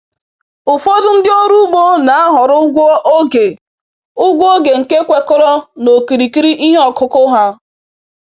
Ụfọdụ ndị ọrụ ugbo na-ahọrọ ụgwọ oge ụgwọ oge nke kwekọrọ na okirikiri ihe ọkụkụ ha